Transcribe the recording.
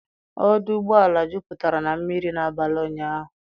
Ọdụ ụgbọala juputara na mmiri n'abalị ụnyahụ.